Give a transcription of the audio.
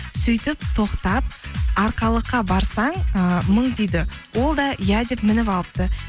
сөйтіп тоқтап арқалыққа барсаң ыыы мың дейді ол да иә деп мініп алыпты